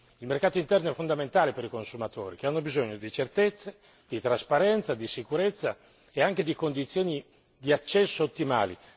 Il mercato interno è fondamentale per i consumatori, che hanno bisogno di certezze, di trasparenza, di sicurezze, nonché di condizioni di accesso ottimali.